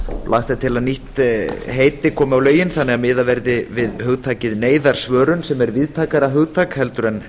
lagt er til að nýtt heiti komi á lögin þannig að miðað verði við hugtakið neyðarsvörun sem er víðtækara hugtak en